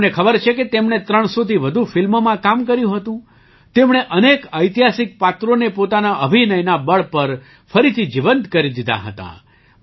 શું તમને ખબર છે કે તેમણે ૩૦૦થી વધુ ફિલ્મોમાં કામ કર્યું હતું તેમણે અનેક ઐતિહાસિક પાત્રોને પોતાના અભિનયના બળ પર ફરીથી જીવંત કરી દીધાં હતાં